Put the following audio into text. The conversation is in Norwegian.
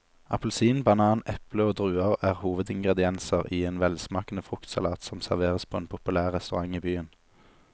Appelsin, banan, eple og druer er hovedingredienser i en velsmakende fruktsalat som serveres på en populær restaurant i byen.